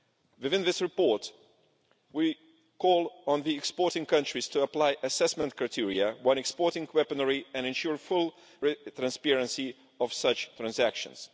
Within this report, we call on the exporting countries to apply assessment criteria when exporting weaponry, and ensure full transparency of such transactions.